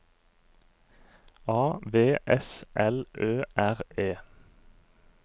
A V S L Ø R E